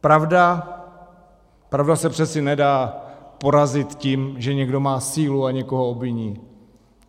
Pravda, pravda se přece nedá porazit tím, že někdo má sílu a někoho obviní.